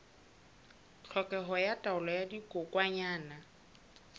tlhokeho ya taolo ya dikokwanyana